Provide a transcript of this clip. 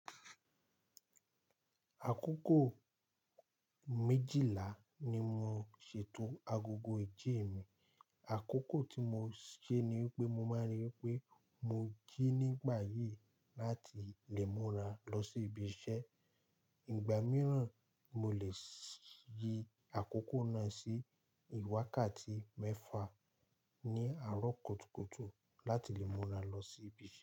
Àkókò méjìlá ni mo ṣètò agogo ìjii mi. Àkókò tí mo ṣe ni wipé mo máa rí i pé mo jí nígbà yìí láti lè múra lọ sí ibi iṣẹ́. Ìgbà mìíràn, mo lè yí àkókò náà sí iwákàtí mẹ́fà ní àárọ̀ kùtùkùtù láti lè múra lọ sí ibi.